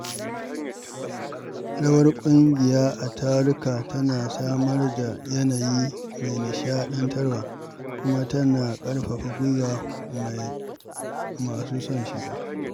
Rawar ƙungiya a taruka tana samar da yanayi mai nishaɗantarwa kuma tana ƙarfafa gwiwar masu son shiga.